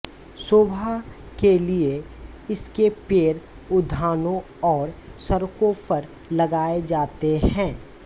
शोभा के लिए इसके पेड़ उद्यानों और सड़कों पर लगाए जाते हैं